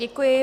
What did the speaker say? Děkuji.